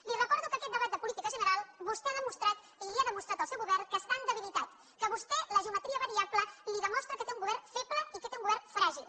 li recordo que en aquest debat de política general vostè ha demostrat i li ha demostrat al seu govern que està en debilitat que a vostè la geometria variable li demostra que té un govern feble i que té un govern fràgil